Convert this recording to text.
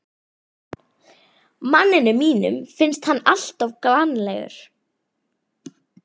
Manninum mínum finnst hann alltof glannalegur.